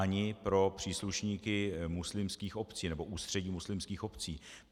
Ani pro příslušníky muslimských obcí, nebo Ústředí muslimských obcí.